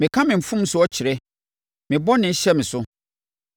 Meka me mfomsoɔ kyerɛ; me bɔne hyɛ me so.